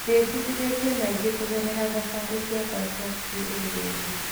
Ndĩbundithĩtie maingĩ kũgerera thabarĩ ciakwa cia kĩũgendi.